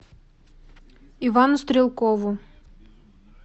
ивану стрелкову